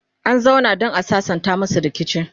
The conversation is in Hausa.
an zauna dan a sassanta masu rikici